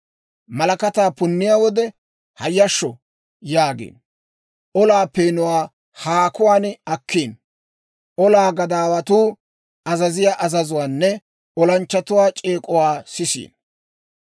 malakataa punniyaa wode, ‹Hayyashsho!› yaagiino. Olaa peenuwaa haakuwaan akkiino; olaa gadaawatuu azaziyaa azazuwaanne olanchchatuwaa c'eek'uwaa sisiino.